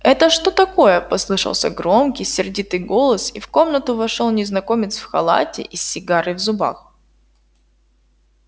это что такое послышался громкий сердитый голос и в комнату вошёл незнакомец в халате и с сигарой в зубах